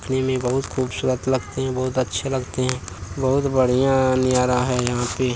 दिखने में बहुत खूबसूरत लगते हैं बहुत अच्छे लगते हैँ। बहुत बढ़ियां नजारा है यहाँ पे।